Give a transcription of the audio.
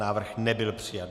Návrh nebyl přijat.